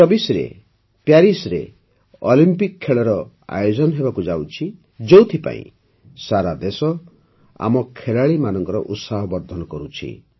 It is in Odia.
୨୦୨୪ରେ ପ୍ୟାରିସ୍ରେ ଅଲମ୍ପିକ ଖେଳର ଆୟୋଜନ ହେବାକୁ ଯାଉଛି ଯେଉଁଥିପାଇଁ ସାରା ଦେଶ ଆମ ଖେଳାଳୀମାନଙ୍କ ଉତ୍ସାହ ବର୍ଦ୍ଧନ କରୁଛି